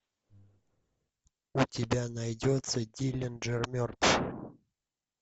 у тебя найдется диллинджер мертв